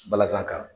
Balazan kan